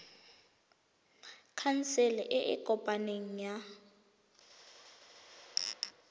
khansele e e kopaneng ya